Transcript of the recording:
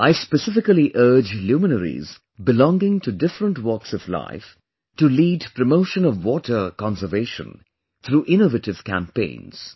I specifically urge the luminaries belonging to different walks of life to lead promotion of water conservation through innovative campaigns